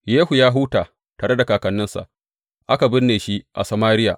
Yehu ya huta tare da kakanninsa, aka binne shi a Samariya.